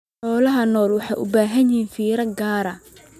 Xoolaha nool waxay u baahan yihiin fiiro gaar ah.